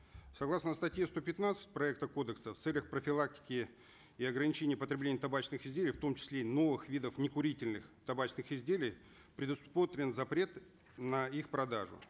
согласно статьи сто пятнадцать проекта кодекса в целях профилактики и ограничения потребления табачных изделий в том числе новых видов некурительных табачных изделий предусмотрен запрет на их продажу